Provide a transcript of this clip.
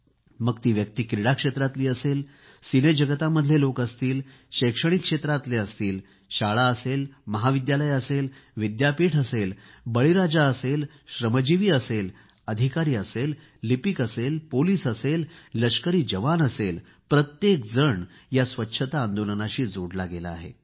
मग ती व्यक्ती क्रीडा क्षेत्रातली असेल की सिनेजगतामधले लोक असतील शैक्षणिक क्षेत्रातले असतील शाळां असेल महाविद्यालय असेल विद्यापीठ असेल बळीराजा असेल श्रमजिवी असेल अधिकारी असेल लिपिक असेल पोलीस असेल लष्करी जवान असेल प्रत्येकजण या स्वच्छता आंदोलनाशी जोडला गेला आहे